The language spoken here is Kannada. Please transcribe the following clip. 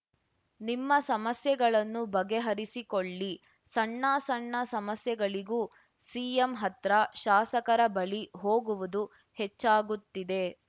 ನಿಮ್ಮ ಸಮಸ್ಯೆಗಳನ್ನು ಬಗೆಹರಿಸಿಕೊಳ್ಳಿ ಸಣ್ಣ ಸಣ್ಣ ಸಮಸ್ಯೆಗಳಿಗೂ ಸಿಎಂ ಹತ್ರ ಶಾಸಕರ ಬಳಿ ಹೋಗುವುದು ಹೆಚ್ಚಾಗುತ್ತಿದೆ